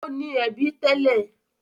Ó ní ẹbí tẹ́lẹ̀.